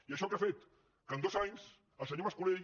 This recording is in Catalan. i això què ha fet que en dos anys el senyor mas colell